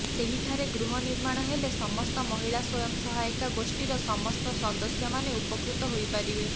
ସେହିଠାରେ ଗୃହ ନିର୍ମାଣ ହେଲେ ସମସ୍ତ ମହିଳା ସ୍ୱୟଂ ସହାୟିକା ଗୋଷ୍ଠିର ସମସ୍ତ ସଦସ୍ୟାମାନେ ଉପକୃତ ହୋଇପାରିବେ